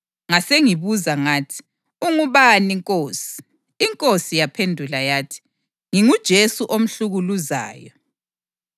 Ngasengibuza ngathi, ‘Ungubani, Nkosi?’ INkosi yaphendula yathi, ‘NginguJesu omhlukuluzayo.